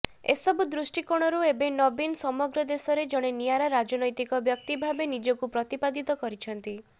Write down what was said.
ଏସବୁ ଦୃଷ୍ଟିକୋଣରୁ ଏବେ ନବୀନ ସମଗ୍ର ଦେଶରେ ଜଣେ ନିଆରା ରାଜନୈତିକ ବ୍ୟକ୍ତି ଭାବେ ନିଜକୁ ପ୍ରତିପାଦିତ କରିଛନ୍ତି